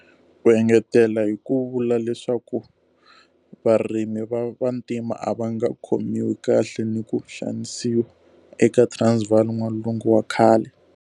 U engetele hi ku vula leswaku varimi va Vantima a va nga khomiwi kahle ni ku xanisiwa eka Transvaal N'walungu wa khale.